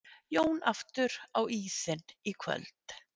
Jón aftur á ísinn í kvöld